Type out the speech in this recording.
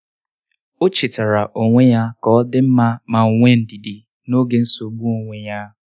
o chetaara onwe ya ka ọ dị mma ma nwee ndidi n'oge nsogbu onwe ya.